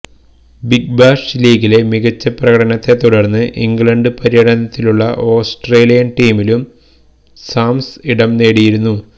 big Bash ലീഗിലെ മികച്ച പ്രകടനത്തെ തുടർന്ന് ഇംഗ്ലണ്ട് പര്യടനത്തിനുള്ള ഓസ്ട്രേലിയന് ടീമിലും സാംസ് ഇടം നേടിയിരുന്നു